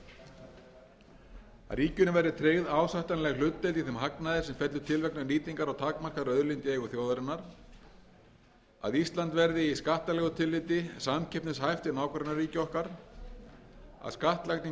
að ríkinu verði tryggð ásættanleg hlutdeild í þeim hagnaði sem fellur til vegna nýtingar á takmarkaðri auðlind í eigu þjóðarinnar að ísland verði í skattalegu tilliti samkeppnishæft við nágrannaríki okkar að skattlagning